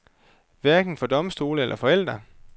Hverken for domstole eller forældre.